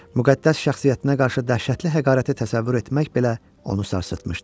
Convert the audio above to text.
Müqəddəs şəxsiyyətinə qarşı dəhşətli həqarəti təsəvvür etmək belə onu sarsıtmışdı.